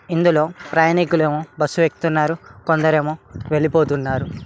ఇందులో ప్రయాణికులేమో బస్సు ఎక్కుతున్నారు కొందరేమో వెళ్ళిపోతున్నారు